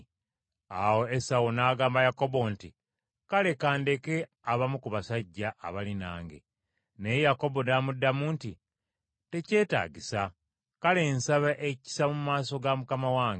Awo Esawu n’agamba Yakobo nti, “Kale ka ndeke abamu ku basajja abali nange.” Naye Yakobo n’amuddamu nti, “Tekyetaagisa. Kale nsaba ekisa mu maaso ga mukama wange.”